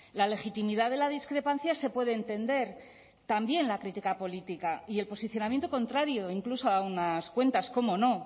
la legitimidad de la discrepancia se puede entender también la crítica política y el posicionamiento contrario incluso a unas cuentas cómo no